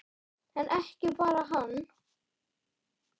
En ekki bara hann.